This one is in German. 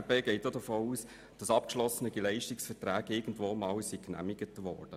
Zudem geht die FDP davon aus, dass abgeschlossene Leistungsverträge irgendwann einmal genehmigt wurden.